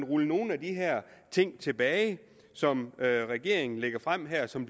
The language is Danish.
rulle nogle af de her ting tilbage som regeringen lægger frem her og som